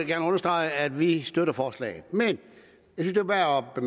gerne understrege at vi støtter forslaget men